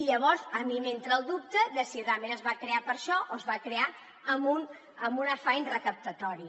llavors a mi m’entra el dubte de si realment es va crear per a això o es va crear amb un afany recaptatori